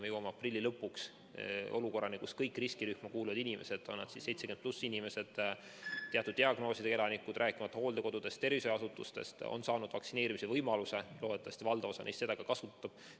Me jõuame aprilli lõpuks olukorrani, kus kõik riskirühma kuuluvad inimesed, on nad siis 70+ inimesed, teatud diagnoosidega elanikud, rääkimata hooldekodudest, tervishoiuasutustest, on saanud vaktsineerimise võimaluse, loodetavasti valdav osa neist seda ka kasutab.